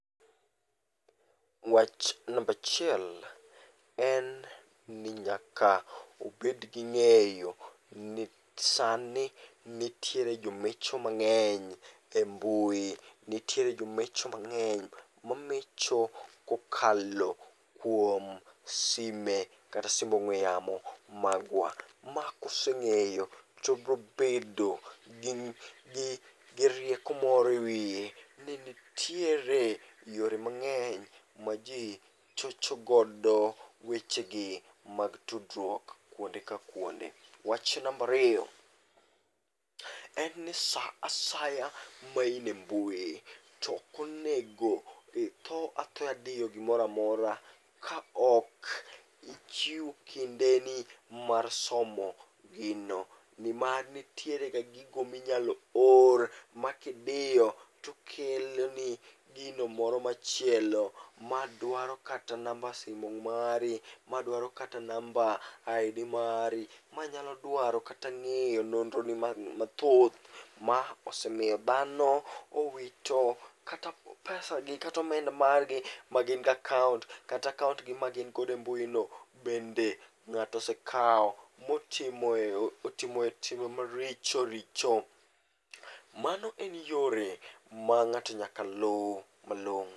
Wach nambachiel en ni nyaka ubed gi ng'eyo ni sani nitiere jomecho mang'eny e mbui. Nitiere jomecho mang'eny mamecho kokalo kuom sime kata sim ong'we yamo magwa. Ma koseng'eyo to brobedo gi rieko moro e wiye ni nitiere yore mang'eny ma ji chochogodo wechegi mag tudruok kuonde ka kuonde. Wach nambariyo en ni sa asaya main e mbui, tokonego itho athoya diyo gimoramora kaok ichiwo kindeni mar somo gino. Ni mar nitiere gigo minyalo or ma kidiyo tokeloni gino moro machielo madwaro kata namba simu mari, madwaro kata namba ID mari. Ma nyalo dwaro kata ng'eyo nondro ni mathoth, ma osemiyo dhano owito kata pesa gi katomenda gin godo e mbui no be ng'ato osekao motimo timbe maricho richo. Mano en yore ma ng'ato nyakoa lu malong'o.